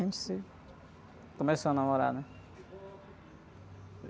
A gente se... Começou a namorar, né?